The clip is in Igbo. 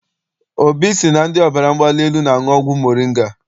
Obi sị na ndị ọbara mgbali elu na-aṅụ ọgwụ moringa.